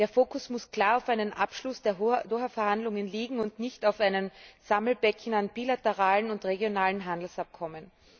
Der Fokus muss klar auf einen Abschluss der Doha Verhandlungen liegen und nicht auf einem Sammelbecken an bilateralen und regionalen Handelsabkommen.